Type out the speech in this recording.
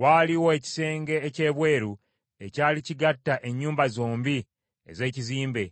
Waaliwo ekisenge eky’ebweru ekyali kigatta ennyumba zombi ez’ekizimbe,